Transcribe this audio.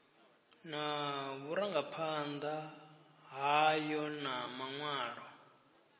na vhurangaphanda hayo na manwalo